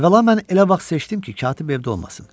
Əvvəla mən elə vaxt seçdim ki, katib evdə olmasın.